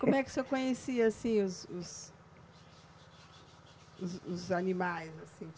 Como é que o senhor conhecia, assim, os os os os animais, assim?